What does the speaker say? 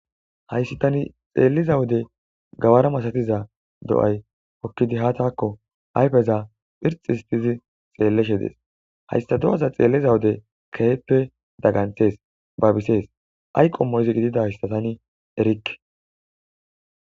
Hayssa tani xeelliza wode gawara masatiza do7ay okkidi ha takko ayfeza phirxistizi xeelleshe dees. hayssa do7aza xeelliza wode keehippe dagganthees babisees ayqomo izi gididassa taani erikke.